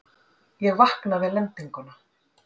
Ég vakna við lendinguna.